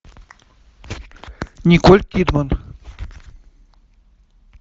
николь кидман